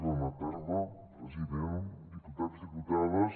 bona tarda president diputats diputades